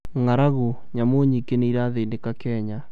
ng'aragu: nyamu nyingĩ nĩirathĩnĩka Kenya